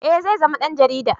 Eh zai zama dan jarida